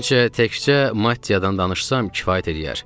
Məncə, təkcə Mattiyadan danışsam kifayət eləyər.